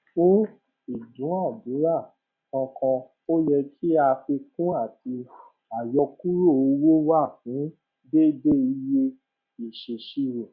fún ìdúnadúrà kọọkan o yẹ kí àfikún àti àyọkúrò owó wà fún déédéé iye ìṣèṣirò